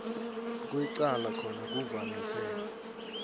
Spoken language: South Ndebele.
kwecala khona kuvamise